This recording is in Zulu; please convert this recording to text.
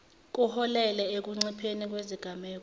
kuholele ekuncipheni kwezigameko